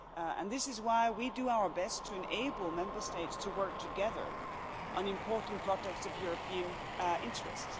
And this is why we do our best to enable Member States to work together on important projects of European interest.